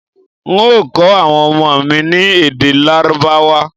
N ó kọ awọn ọmọ mi ní èdè lárábáwá